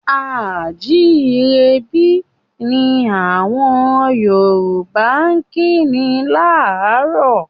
A à jírebí! ni àwọn Yorùbá kí ni láárò.